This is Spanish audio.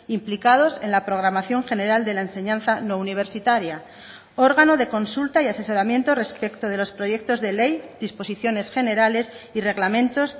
implicados en la programación general de la enseñanza no universitaria órgano de consulta y asesoramiento respecto de los proyectos de ley disposiciones generales y reglamentos